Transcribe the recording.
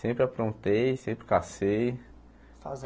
Sempre aprontei, sempre cacei.